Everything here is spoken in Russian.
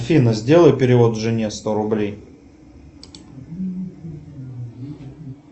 афина сделай перевод жене сто рублей